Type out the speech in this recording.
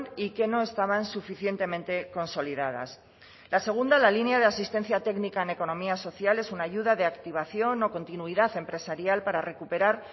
y que no estaban suficientemente consolidadas la segunda la línea de asistencia técnica en economía social es una ayuda de activación o continuidad empresarial para recuperar